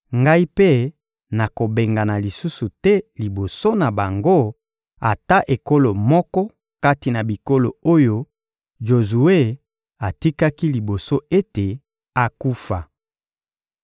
Ngai mpe nakobengana lisusu te liboso na bango ata ekolo moko kati na bikolo oyo Jozue atikaki liboso ete akufa.